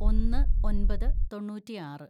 ഒന്ന് ഒന്‍പത് തൊണ്ണൂറ്റിയാറ്‌